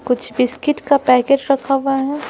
कुछ बिस्किट का पैकेट रखा हुआ है ।